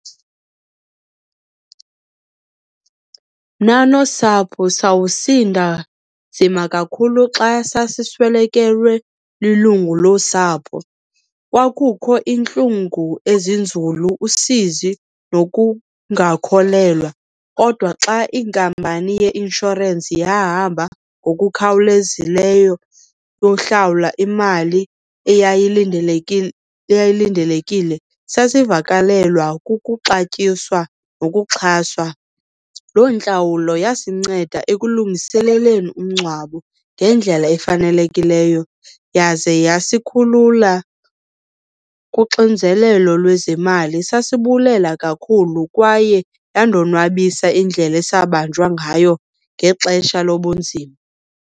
Mna nosapho sawusinda nzima kakhulu xa sasiswelekelwe lilungu losapho. Kwakukho iintlungu ezinzulu, usizi, nokungakholelwa kodwa xa inkampani yeinshorensi yahamba ngokukhawulezileyo yohlawula imali eyayilindelekile sasivakalelwa kukuxatyiswa nokuxhaswa. Loo ntlawulo yasinceda ekulungiseleleni umngcwabo ngendlela efanelekileyo yaze yasikhulula kuxinzelelo lwezemali. Sasibulela kakhulu kwaye yandonwabisa indlela esabanjwa ngayo ngexesha lobunzima.